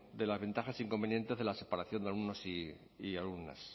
de las ventajas e inconvenientes de la separación de alumnos y alumnas